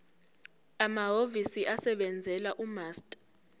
amahhovisi asebenzela umaster